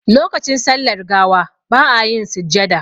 Lokacin sallar gawa ba a yin sujjada